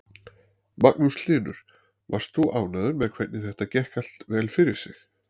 Magnús Hlynur: Varst þú ánægður með hvernig þetta gekk allt vel fyrir sig?